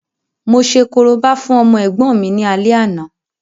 Mo ṣe korobá fún ọmọ ẹ̀gbọ́n mi ní alẹ́ àná